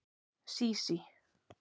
Sísí